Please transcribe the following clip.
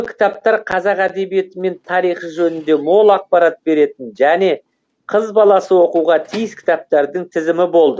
кітаптар қазақ әдебиеті мен тарихы жөнінде мол ақпарат беретін және қыз баласы оқуға тиіс кітаптардың тізімі болды